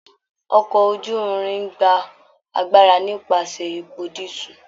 Ọkọ̀ oju-irin ń gba agbára nípasẹ̀ epo dísúù